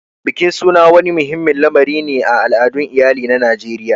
Bikin suna wani muhimmin lamari ne a al'adun iyali na Najeriya.